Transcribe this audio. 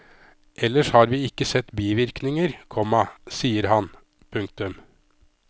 Ellers har vi ikke sett bivirkninger, komma sier han. punktum